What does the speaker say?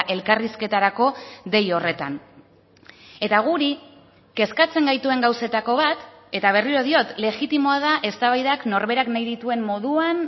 elkarrizketarako dei horretan eta guri kezkatzen gaituen gauzetako bat eta berriro diot legitimoa da eztabaidak norberak nahi dituen moduan